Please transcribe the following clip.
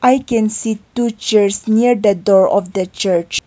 i can see two chairs near the door of the church.